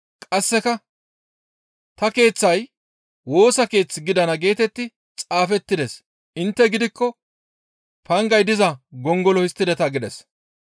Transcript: Qasseka, «Ta keeththay Woosa Keeth gidana geetetti xaafettides; intte gidikko pangay diza gongolo histtideta» gides.